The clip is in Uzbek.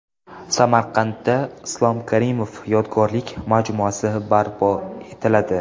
Samarqandda Islom Karimov yodgorlik majmuasi barpo etiladi.